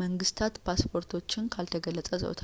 መንግስታት ፓስፖርቶችን ካልተገለጸ ጾታ